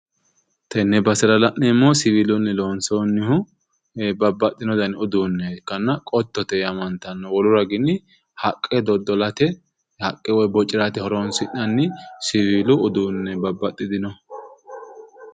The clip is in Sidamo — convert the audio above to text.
tenne basera la'neemoohu siwiilunni lonsoonnihu babbaxxino dani uduunne ikkanna qottote yaamantanno wolu garinni haqqe doddolate haqqe bocirate horonsi'nanni siwiilu uduunneeti babbaxxinoho